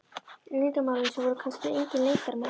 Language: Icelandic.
Leyndarmálum sem voru kannski engin leyndarmál.